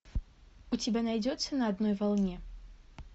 у тебя найдется на одной волне